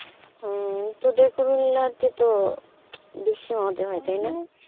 হম তোদের তো বেশি মজা হয় তাই না,